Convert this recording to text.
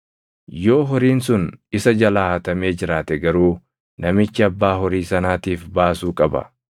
Yoo horiin sun isa jalaa hatamee jiraate garuu namichi abbaa horii sanaatiif baasuu qaba.